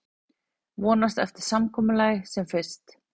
Vonast eftir samkomulagi sem fyrst